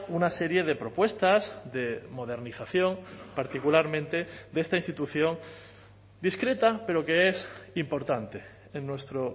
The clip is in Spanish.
una serie de propuestas de modernización particularmente de esta institución discreta pero que es importante en nuestro